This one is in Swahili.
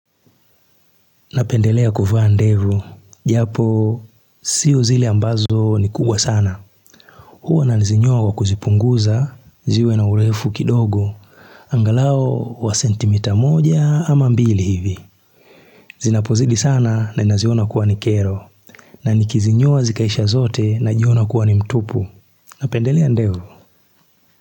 Napendelea kuvaa ndevu, japo sio zile ambazo ni kubwa sana. Huwa nazinyoa kuzipunguza, ziwe na urefu kidogo, angalau wa sentimita moja ama mbili hivi. Zinapozidi sana na naziona kuwa ni kero, na nikizinyoa wa zikaisha zote na jiona kuwa ni mtupu. Napendelea ndevu.